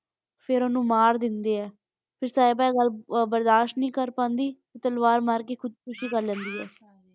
ਫੇਰ ਉਸਨੂੰ ਮਾਰ ਦੇਂਦੇ ਹੈ ਤੇ ਸਾਹਿਬਾ ਇਹ ਗੱਲ ਬਰਦਾਸ਼ ਨਹੀਂ ਕਰ ਪਾਉਂਦੀ ਤੇ ਤਲਵਾਰ ਮਾਰ ਕੇ ਖੁਦ ਖੁਸ਼ੀ ਕਰ ਲੈਂਦੀ ਹੈ।